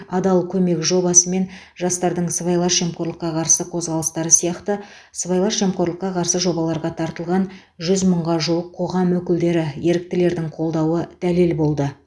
адал көмек жобасы мен жастардың сыбайлас жемқорлыққа қарсы қозғалыстары сияқты сыбайлас жемқорлыққа қарсы жобаларға тартылған жүз мыңға жуық қоғам өкілдері еріктілердің қолдауы дәлел болды